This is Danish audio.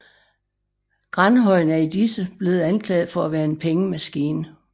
Granhøjen er i disse blevet anklaget for at være en pengemaskine